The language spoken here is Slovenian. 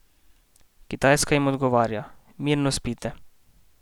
Kitajska jim odgovarja: "Mirno spite!